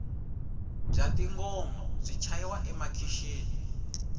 bya tingoma byi chayiwa emakixini